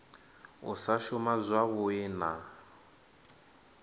u sa shuma zwavhui na